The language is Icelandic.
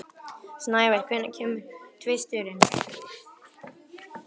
Snævar, hvenær kemur tvisturinn?